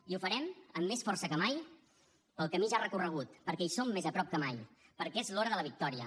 i ho farem amb més força que mai pel camí ja recorregut perquè hi som més a prop que mai perquè és l’hora de la victòria